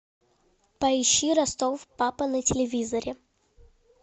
поищи ростов папа на телевизоре